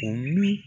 O min